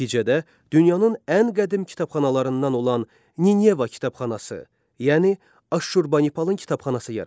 Nəticədə dünyanın ən qədim kitabxanalarından olan Nineva kitabxanası, yəni Aşurbanipalın kitabxanası yaranır.